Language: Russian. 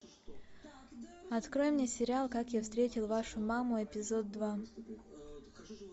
открой мне сериал как я встретил вашу маму эпизод два